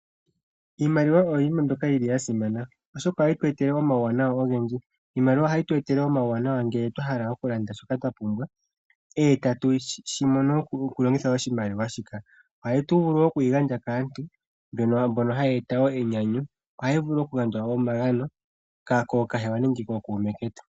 Iimaliwa oyo yimwe mbyoka yi li ya simana oshoka ohayi tu etele omauwanawa ogendji. Iimaliwa ohayi tu etele omauwanawa ngele twa hala okulanda shoka twa pumbwa, e tatu shi mono okulongitha oshimaliwa shika. Ohatu vulu oku yi gandja kaantu mbono haya eta wo enyanyu. Ohayi vulu okugandjwa onga omagano kookahewa nenge kookuume ketu.